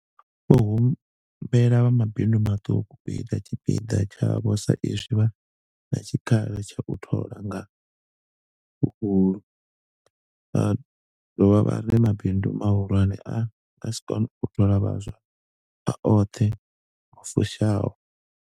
Vho humbela vha mabindu maṱuku u ita tshipiḓa tshavho sa izwi vha na tshikhala tsha u thola nga huhulu, vha dovha vha ri mabindu mahulwane a nga si kone u thola vhaswa a oṱhe lu fushaho.